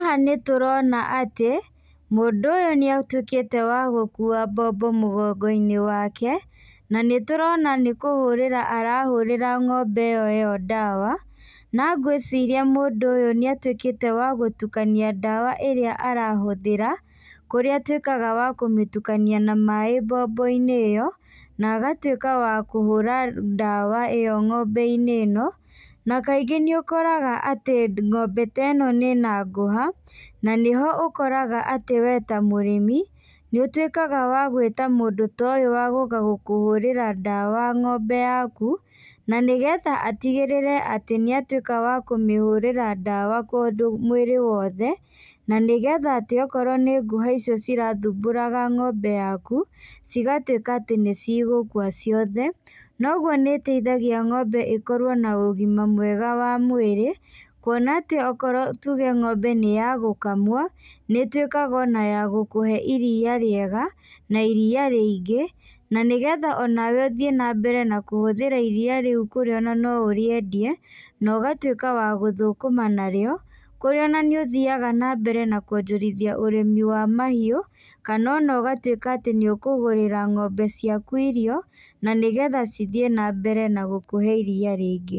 Haha nĩtũrona atĩ mũndũ ũyũ nĩatuĩkite wa gũkũa mbombo mgongo-inĩ wake, na nĩtũrona nĩkũhũrĩra arahũrĩra ng'ombe iyo iyo ndawa, na ngwĩciria mũndũ ũyũ nĩatuĩkite wa gũtũkania ndawa ĩria arahuthĩra, kũrĩa atuĩkaga wa kũmĩtukania na maĩ mbombo-inĩ iyo, na agatuĩka wa kũhũra ndawa iyo ng'ombe-inĩ ĩno, na kaingĩ nĩũkoraga atĩ ng'ombe ta ĩno ĩna ngũha na nĩho ũkoraga atĩ we ta mũrĩmi, nĩũtuĩkaga wa gũita mũndũ ta ũyũ wa gũka gũkũhũrĩra ndawa ng'ombe yaku, na nĩgetha atigĩrĩre atĩ nĩatuĩka akũmĩhũrĩra ndawa mwĩrĩ wothe, na nĩgetha atĩ okorwo nĩ ngũha icio cirathumburaga ng'ombe yaku cigatuĩka atĩ nĩcigũkũa ciothe, noguo nĩĩteithagia ng'ombe ikorwo na ũgĩma mwega wa mwĩrĩ kuona atĩ okorwo tũge ng'ombe nĩ ya gũkamwo nĩtuĩkaga ona ya gũkũhe iria rĩega, na iria rĩingĩ, na nĩgetha onawe ũthiĩ na mbere na kũhũthĩra iria rĩũ kũrĩa ona no ũrĩendie no ũgatuĩka wa gũthũkũma na rĩo, kũrĩa na nĩũthĩaga na mbere na kũonjorithia ũrĩmi wa mahiũ, kana ona ũgatuĩka atĩ nĩũkũgũrĩra ng'ombe ciaku irio, na nĩgetha cithiĩ na mbere na gũkũhe iria rĩingĩ.